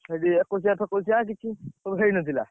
ସେଠି ଏକୋଇଶିଆ ଫେକୋଉଶିଆ କିଛି, ସବୁ ହେଇନଥିଲା।